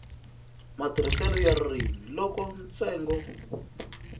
matirhiselo ya ririmi loko ntsengo